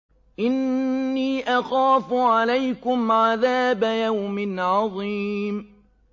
إِنِّي أَخَافُ عَلَيْكُمْ عَذَابَ يَوْمٍ عَظِيمٍ